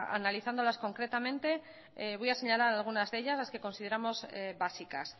analizándolas concretamente voy a señalar algunas de ellas las que consideramos básicas